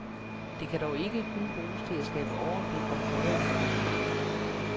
Det kan dog ikke kun bruges til at skabe overblik over privatøkonomien.